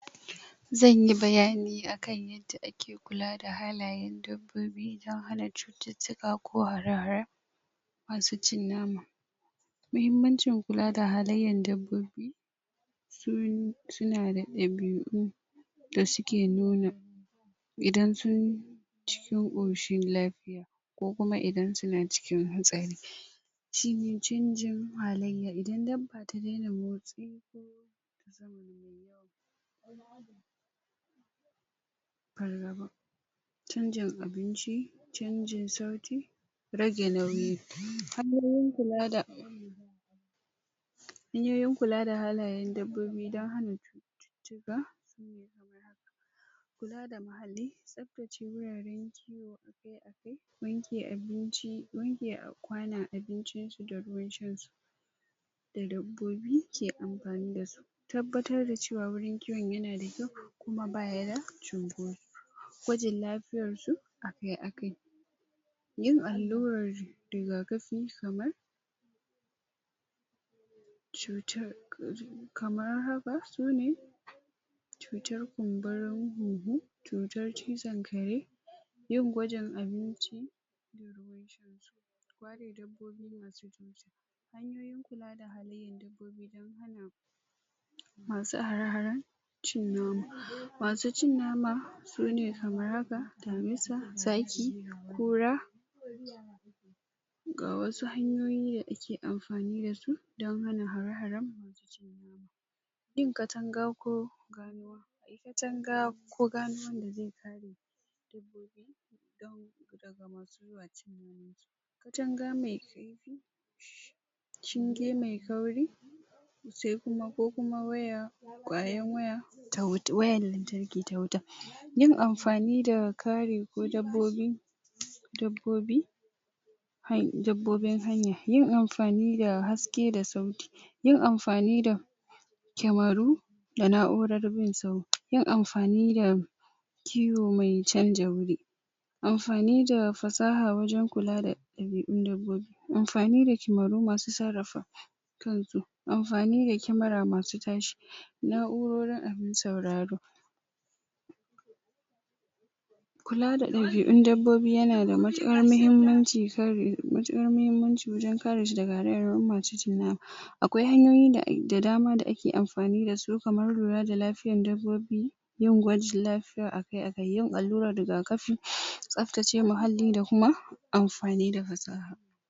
zanyi bayani akan yanda ake kula da halayen dabbobi dan hana cututtuka ko hare haren cin nama mahimmancin kula da halaiyan dabbobi suna da dabi'u da suke nuna idan sun ci sun koshi ko kum aidan suna cikin hatsari canjin halaiya idan dabba ta dena........ canjin abinci canjin sauti rage nauyi hanyoyin kula da hanyoyin kula da halayen dabbobi dan hana kula da muhalli tsaf tace gurare me abinci na dabbobi ke tabbatar da cewa gurin kiwon yana da kyau kuma ba yi da gwajin lafiyan su a kai kai yin allurar rigakafi kamar cutar kamar haba uni cutar kun burin hunhu cutar cizon kare yin gwajin abinci masu araharen cin nama masu cin nama sune kamar haka damusa zaki kura ga wasu hanyoyi da ake amfani dasu dan hana hara haren yin katanga ko katanga ko katanga mai shinge mai tauri sai kuma ko kuma wayan.... yin amfani da kare dabbobi dabbobin hanya yin amfani da haske da sauti yin amfani da cameru da na'urar bin sauti yin amfani da kiwo mai canja wuri amfani da fasaha wajen kula da dabi'un dabbobi amfani da kameru masu sarrafa amfani da camera masu tashe na'urorin sauraro kula da ɗabi'un dabbobi yanda matikar mahimmanci matikar mahimmanci wajen kare nama akwai hanyoyi da dama da ake amfani dasu kamar lura da lafiyar dabbobi yin gwajin lafiya a kai a kai yin allurar riga kafi tsaf tace muhalli da kuma amfani da fasaha